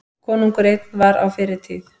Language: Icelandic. Konungur einn var á fyrri tíð.